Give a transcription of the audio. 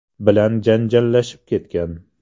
bilan janjallashib ketgan.